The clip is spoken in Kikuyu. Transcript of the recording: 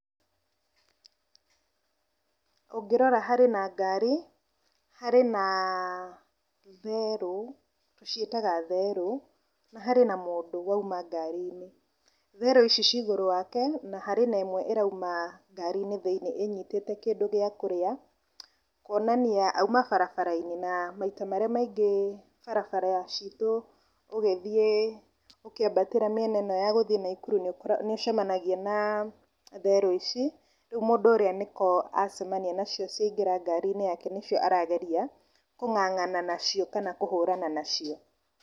Ũngĩrora harĩ na ngari, harĩ na therũ ,tũciĩtaga therũ, na harĩ na mũndũ wauma ngari-inĩ, therũ ici ci igũrũ wake na hena ĩmwe ĩrauma ngari-inĩ thĩiniĩ ĩnyitĩte kĩndũ gĩa kũrĩa kuonania auma barabara-inĩ ,na maita marĩa maingĩ barabara citũ ũgĩthiĩ ,ũkĩambatĩra mĩena ĩno ya gũthiĩ Naikuru nĩ ũcemanagia na therũ ici, rĩu mũndũ ũrĩa nĩho acemania nacio ciaingĩra ngari-inĩ, nĩcio arageria kũng'ang'ana nacio, kana kũhũrana nacio.